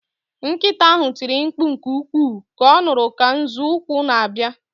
Nkịta ahụ tiri mkpu nke ukwuu ka ọ nụrụ ka nzọụkwụ na-abịa